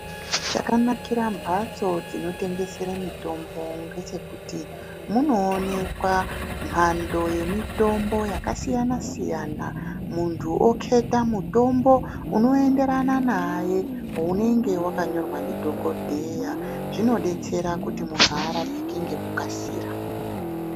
Chakanakire mbatso dzinotengesera mutombo ngechekuti munoonekwa mhando yemutombo yakasiyana siyana muntu oketa mutombo unoenderana naye unenge wakanyorwa ndidhokodheya zvinodetsera kuti muntu arapike ngekukasira.